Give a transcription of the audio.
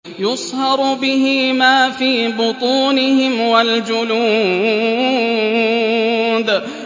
يُصْهَرُ بِهِ مَا فِي بُطُونِهِمْ وَالْجُلُودُ